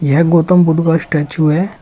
यह गौतम बुद्ध का स्टेचू है।